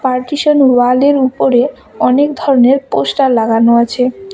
Partition wall -এর উপরে অনেক ধরনের পোস্টার লাগানো আছে।